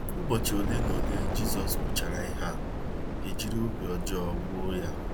ỤBỌCHỊ ole na ole Jizọs kwuchara ihe a, e jiri obi ọjọọ gbuo ya.